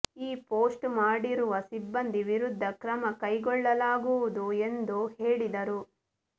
ಈ ಪೋಸ್ಟ್ ಮಾಡಿರುವ ಸಿಬ್ಬಂದಿ ವಿರುದ್ಧ ಕ್ರಮ ಕೈಗೊಳ್ಳಲಾಗುವುದು ಎಂದು ಹೇಳಿದರು